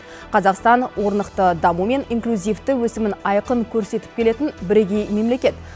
қазақстан орнықты даму мен инклюзивті өсімін айқын көрсетіп келетін бірегей мемлекет